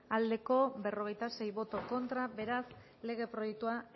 aldekoa cuarenta y seis contra beraz lege proiektua